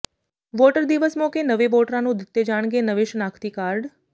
voter ਦਿਵਸ ਮੌਕੇ ਨਵੇਂ ਵੋਟਰਾਂ ਨੂੰ ਦਿੱਤੇ ਜਾਣਗੇ ਨਵੇਂ ਸ਼ਨਾਖ਼ਤੀ ਕਾਰਡ